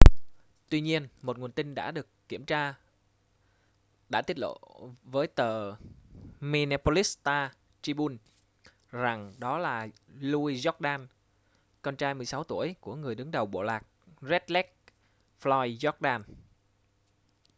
tuy nhiên một nguồn tin đã được kiểm tra đã tiết lộ với tờ minneapolis star-tribune rằng đó là louis jourdain con trai 16 tuổi của người đứng đầu bộ lạc red lake floyd jourdain